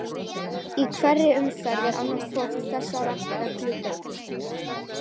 Í hverri umferð er annarri hvorri þessara reglna beitt.